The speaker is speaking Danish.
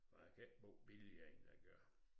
Og jeg kan ikke bo billigere end jeg gør